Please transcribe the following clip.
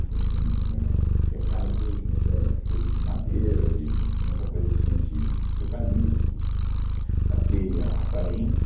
Então, assim, ãh, o que é caibro hoje, mas era coisa de madeira, de... Muita coisa tinha de de eucalipto, era telha aparente.